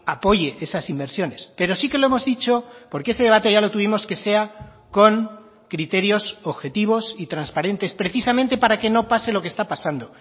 apoye esas inversiones pero sí que lo hemos dicho porque ese debate ya lo tuvimos que sea con criterios objetivos y transparentes precisamente para que no pase lo que está pasando